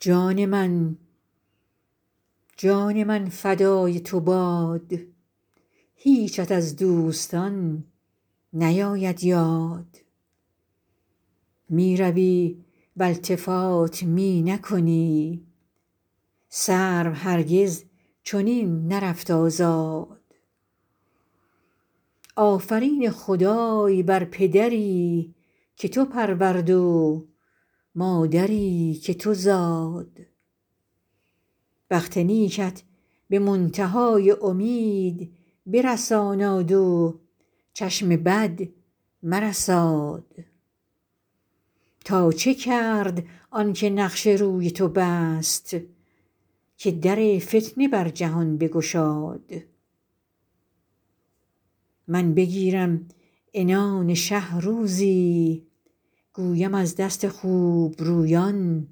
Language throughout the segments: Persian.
جان من جان من فدای تو باد هیچت از دوستان نیاید یاد می روی و التفات می نکنی سرو هرگز چنین نرفت آزاد آفرین خدای بر پدری که تو پرورد و مادری که تو زاد بخت نیکت به منتها ی امید برساناد و چشم بد مرساد تا چه کرد آن که نقش روی تو بست که در فتنه بر جهان بگشاد من بگیرم عنان شه روزی گویم از دست خوبرویان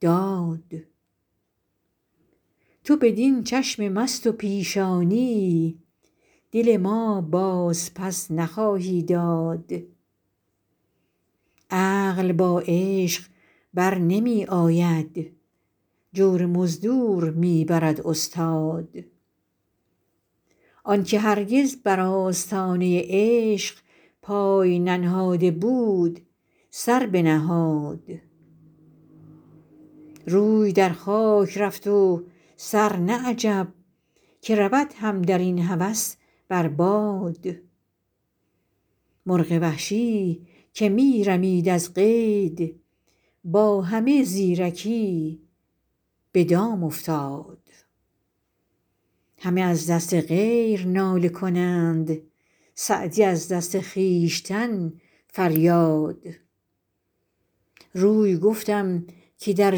داد تو بدین چشم مست و پیشانی دل ما بازپس نخواهی داد عقل با عشق بر نمی آید جور مزدور می برد استاد آن که هرگز بر آستانه عشق پای ننهاده بود سر بنهاد روی در خاک رفت و سر نه عجب که رود هم در این هوس بر باد مرغ وحشی که می رمید از قید با همه زیرکی به دام افتاد همه از دست غیر ناله کنند سعدی از دست خویشتن فریاد روی گفتم که در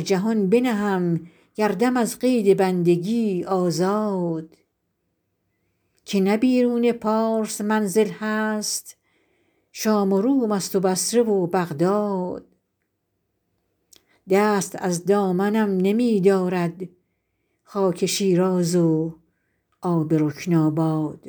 جهان بنهم گردم از قید بندگی آزاد که نه بیرون پارس منزل هست شام و روم ست و بصره و بغداد دست از دامنم نمی دارد خاک شیراز و آب رکن آباد